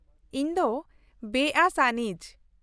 ᱤᱧ ᱫᱚ ᱵᱮᱼᱟᱹᱥ ᱟᱹᱱᱤᱡ ᱾